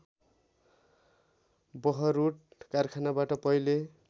बहरूड कारखानाबाट पहिल्यै